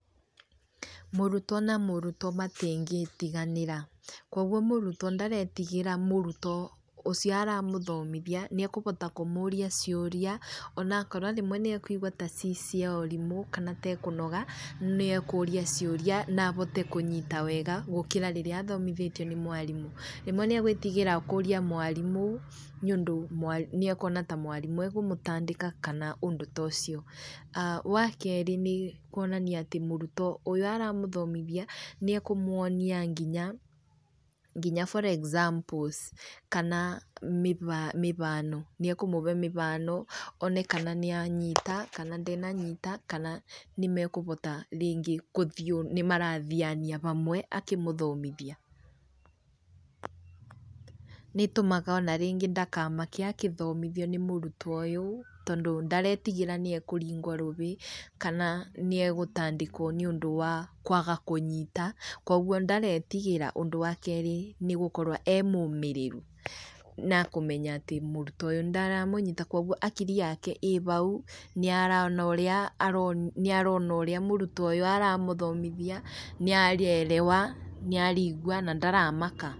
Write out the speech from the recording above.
Mũrutwo na mũrutwo matingĩtiganĩra. Kuũguo mũrutwo ndaretigĩra mũrutwo ũcio aramũthomithia, nĩ ekũbota kũmũria ciũria, ona akorwo rĩmwe nĩ ekuigwa ta ci cia ũrimũ kana ta ekũnoga, nĩ ekũria ciũria na abote kũnyita wega gũkira rĩrĩa athomithĩtio nĩ mwarimũ. Rĩmwe nĩ egwĩtigĩra kũria mwarimũ nĩ ũndũ nĩ ekuona mwarimũ ta ekũmũtandĩka kana ũndũ ta ũcio. Wa keerĩ nĩ kuonania atĩ mũrutwo ũyũ ũramũthomithia nĩ ekũmuonia nginya for examples kana mĩbano, nĩ ekũmũbe mĩbano, one kana nĩ anyita kana ndenanyita, kana nĩ mekubota rĩngĩ kũthiĩ ũũ nĩ marathiania bamwe akĩmũthomithia. Nĩ ĩtũmaga ona rĩngĩ ndakamake agĩthomithio nĩ mũrutwo ũyũ tondũ ndaretigĩra niekũringwo rũbĩ kana nĩ egũtandĩkwo nĩ ũndũ wa kwaga kũnyita, kuũguo ndaretigĩra. Ũndũ wa kerĩ nĩ gũkorwo e mũmĩrĩru na kũmenya atĩ mũrutwo ũyũ ndaramũnyita kuũguo akiri yake ĩ bau, nĩ arona ũrĩa mũrutwo ũyũ aramũthomthia nĩarerewa na arigua na ndaramaka.